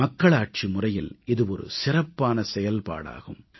மக்களாட்சி முறையில் இது சிறப்பான செயல்பாடாகும்